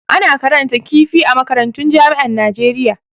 Ana karatun kifi a makarantan jami'an Najeriya.